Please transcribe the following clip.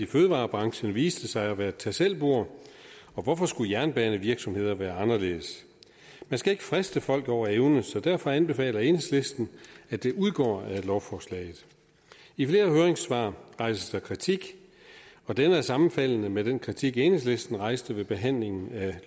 fødevarebranchen viste sig at være et tag selv bord og hvorfor skulle jernbanevirksomheder være anderledes man skal ikke friste folk over evne så derfor anbefaler enhedslisten at det udgår af lovforslaget i flere høringssvar rejses der kritik og den er sammenfaldende med den kritik enhedslisten rejste ved behandlingen af